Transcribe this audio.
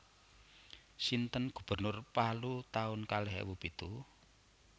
Sinten gubernur Palu taun kalih ewu pitu?